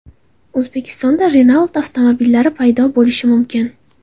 O‘zbekistonda Renault avtomobillari paydo bo‘lishi mumkin .